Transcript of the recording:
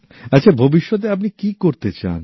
আচ্ছা ভবিষ্যতে আপনি কি করতে চান